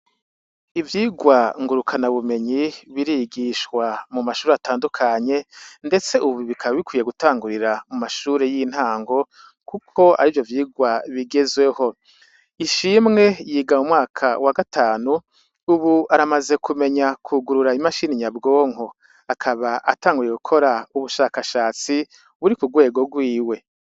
Ivyigwa ngurukana bumenyi birigishwa mu mashuri atandukanye, ndetse, ubu bikaba bikwiye gutangurira mu mashure y'intango, kuko ari vyo vyirwa bigezweho ishimwe yiga mu mwaka wa gatanu, ubu aramaze kumenya kugurura imashini nyabwonko akaba tanguye gukora ubushakashatsi buri ku rwego rwiwe.